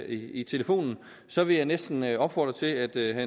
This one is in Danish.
i telefonen så vil jeg næsten opfordre til at at